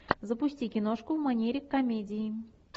запусти киношку в манере комедии